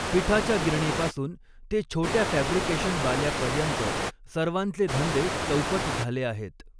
पिठाच्या गिरणीपासून ते छोट्या फॅब्रिकेशनवाल्यापर्यंत सर्वांचे धंदे चौपट झाले आहेत.